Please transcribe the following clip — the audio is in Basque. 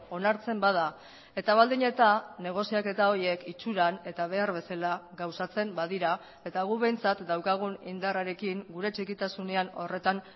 onartzen bada eta baldin eta negoziaketa horiek itxuran eta behar bezala gauzatzen badira eta guk behintzat daukagun indarrarekin gure txikitasunean horretan